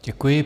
Děkuji.